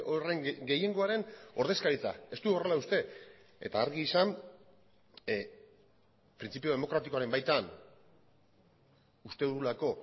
horren gehiengoaren ordezkaritza ez du horrela uste eta argi izan printzipio demokratikoaren baitan uste dugulako